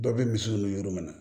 Dɔ bɛ misiw nu yɔrɔ minɛ